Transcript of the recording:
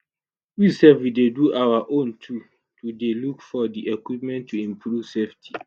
we sef we dey do our own too dey go look for di equipment to improve safety."